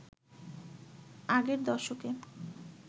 আগের দশকে